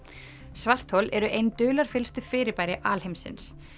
svarthol eru ein fyrirbæri alheimsins